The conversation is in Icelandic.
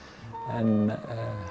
en